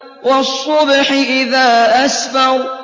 وَالصُّبْحِ إِذَا أَسْفَرَ